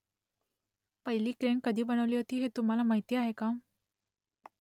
पहिली क्रेन कधी बनवली होती हे तुम्हाला माहीत आहे का ?